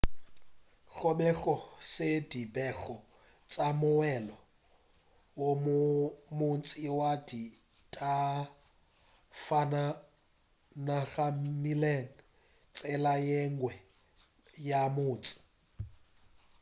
gobe go se dipego tša moelo wo montši wa disafatanaga mmileng tsela yengwe ya motse